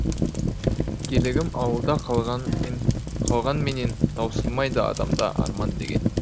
еркелігім ауылда қалғанмен қалғанменен таусылмайды адамда арман деген